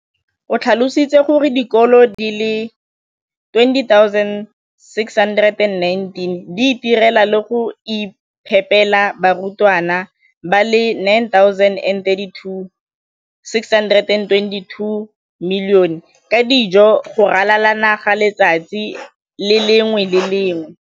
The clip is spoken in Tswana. o tlhalositse gore dikolo di le 20 619 di itirela le go iphepela barutwana ba le 9 032 622 ka dijo go ralala naga letsatsi le lengwe le le lengwe.